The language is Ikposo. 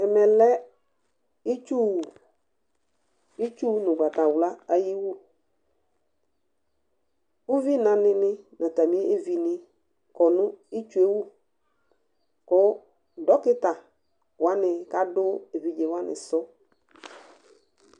Ɛmɛ lɛ itsu wu; itsu nʋgbatawla ayiwuUvinanɩ nɩ natamɩevi nɩ kɔ nʋ itsue wuKʋ dɔkɩta wanɩ kadʋ evidzewanɩ sʋ